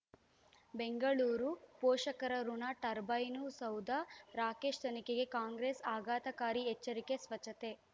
ಬೆಂಗಳೂರು ಪೋಷಕರಋಣ ಟರ್ಬೈನು ಸೌಧ ರಾಕೇಶ್ ತನಿಖೆಗೆ ಕಾಂಗ್ರೆಸ್ ಆಘಾತಕಾರಿ ಎಚ್ಚರಿಕೆ ಸ್ವಚ್ಛತೆ